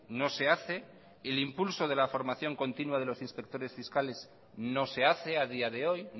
no se hace el impulso de la formación continua de los inspectores fiscales no se hace a día de hoy